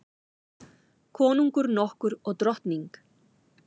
Konungur nokkur og drottning.